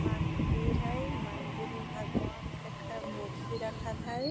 मंदिर हाई मंदिर में भगवान के कई मूर्ति रखल हई |